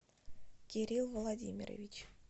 кирилл владимирович